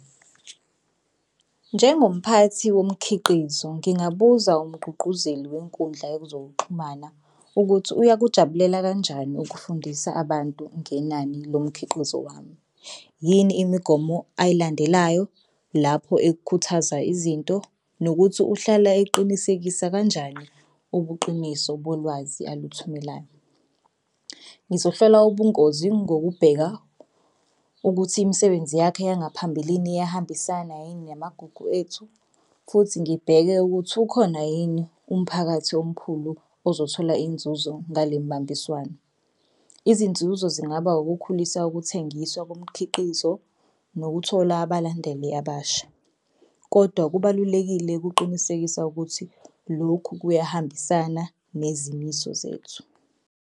Njengomphathi womkhiqizo ngingabuza umgqugquzeli wenkundla yezokuxhumana ukuthi uyakujabulela kanjani ukufundisa abantu ngenani lomkhiqizo wami. Yini imigomo ayilandelayo lapho ekukhuthaza izinto nokuthi uhlala eqinisekisa kanjani ubuqiniso bolwazi aluthumelayo. Ngizohlola ubungozi ngokubheka ukuthi imisebenzi yakhe yangaphambilini iyahambisana yini namagugu ethu futhi ngibheke ukuthi ukhona yini umphakathi omkhulu ozothola inzuzo ngale mbambiswano. Izinzuzo zingaba ukukhulisa ukuthengiswa komkhiqizo nokuthola abalandeli abasha, kodwa kubalulekile ukuqinisekisa ukuthi lokhu kuyahambisana nezimiso zethu.